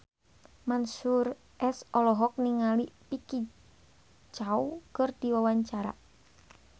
Mansyur S olohok ningali Vicki Zao keur diwawancara